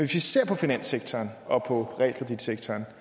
vi ser på finanssektoren og på realkreditsektoren